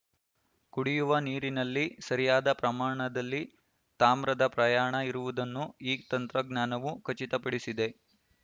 ಕುಡಿಯುವ ನೀರಿನಲ್ಲಿ ಸರಿಯಾದ ಪ್ರಮಾಣದಲ್ಲಿ ತಾಮ್ರದ ಪ್ರಯಾಣ ಇರುವುದನ್ನು ಈ ತಂತ್ರಜ್ಞಾನವು ಖಚಿತಪಡಿಸಿದೆ